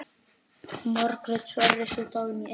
Margrét Sverris og Dagný Einars.